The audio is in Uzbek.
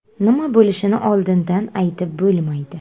Nima bo‘lishini oldindan aytib bo‘lmaydi.